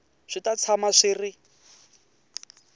swi ta tshama swi ri